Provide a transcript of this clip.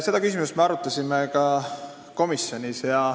Seda küsimust me arutasime ka komisjonis.